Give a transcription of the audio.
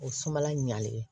O sumala ɲalen